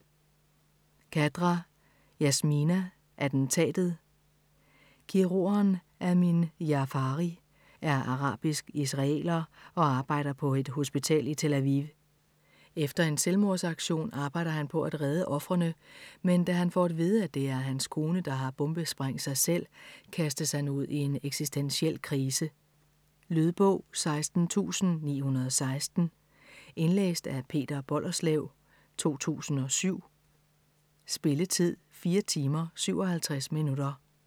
Khadra, Yasmina: Attentatet Kirurgen Amine Jaafari er arabisk israeler og arbejder på et hospital i Tel Aviv. Efter en selvmordsaktion, arbejder han på at redde ofrene, men da han får at vide, at det er hans kone der har bombesprængt sig selv, kastes han ud i en eksistentiel krise. Lydbog 16916 Indlæst af Peter Bollerslev, 2007. Spilletid: 4 timer, 57 minutter.